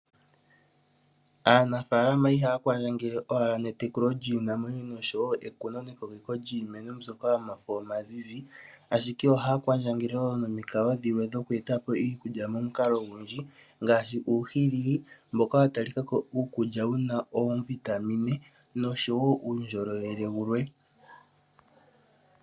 Aanafaalama ihaya kwandjangele owala netekulo lyiinamwenyo noshowo ekuno nekokeko lyiimeno mbyoka omafo omazizi ashike ohaya kwandjangele wo nomikalo dhilwe oku etapo iikulya momikalo odhindji. Ngaashi uuhilili mboka wa talikako iikulya yina oovitamine noshowo uundjolowele wulwe.